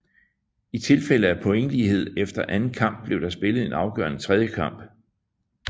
I tilfælde af pointlighed efter anden kamp blev der spillet en afgørende tredje kamp